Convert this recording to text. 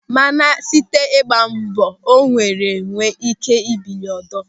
Mana site n'ịgba mbọ o wee nwee ị́ké bilie ọzọ.